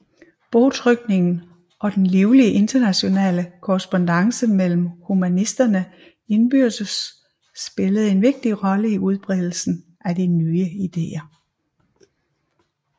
Bogtrykningen og den livlige internationale korrespondance mellem humanisterne indbyrdes spillede en vigtig rolle i udbredelsen af de nye ideer